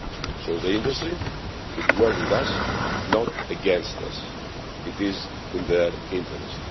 So the industry should work with us, not against us. It is in their interest.